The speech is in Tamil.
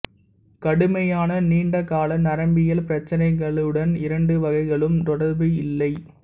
கடுமையான நீண்ட கால நரம்பியல் பிரச்சினைகளுடன் இரண்டு வகைகளுக்கும் தொடர்பு இல்லை